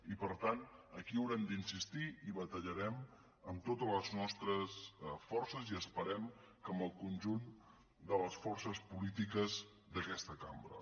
i per tant aquí haurem d’insistir i batallarem amb totes les nostres forces i esperem que amb el conjunt de les forces polítiques d’aquesta cambra